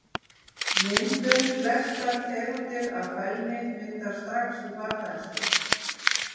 Myndun Flestar tegundir af fælni myndast strax í barnæsku.